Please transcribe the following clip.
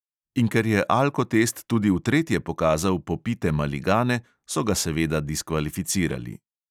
In ker je alkotest tudi v tretje pokazal popite maligane, so ga seveda diskvalificirali.